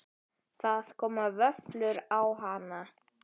Það koma vöflur á hana.